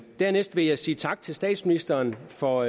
dernæst vil jeg sige tak til statsministeren for